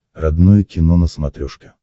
родное кино на смотрешке